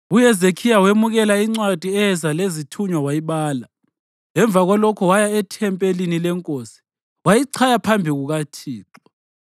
UHezekhiya wemukela incwadi eyeza lezithunywa wayibala. Emva kwalokho waya ethempelini leNkosi, wayichaya phambi kukaThixo.